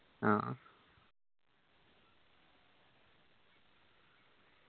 ആ